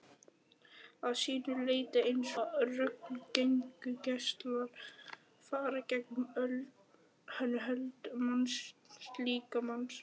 að sínu leyti eins og röntgengeislar fara gegnum hold mannslíkamans.